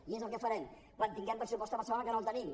i és el que farem quan tinguem pressupost a barcelona que no el tenim